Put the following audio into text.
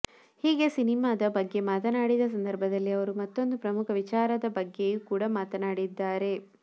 ಹೀಗೆ ಸಿನಿಮಾದ ಬಗ್ಗೆ ಮಾತನಾಡಿದ ಸಂದರ್ಭದಲ್ಲಿ ಅವರು ಮತ್ತೊಂದು ಪ್ರಮುಖ ವಿಚಾರದ ಬಗ್ಗೆಯೂ ಕೂಡಾ ಮಾತನಾಡಿದ್ದಾರೆ